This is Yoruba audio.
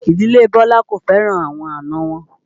Ìdílé Bọlá kò fẹ́ràn àwọn àna wọn